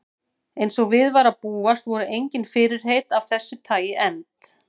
Eins og við var að búast voru engin fyrirheit af þessu tagi efnd.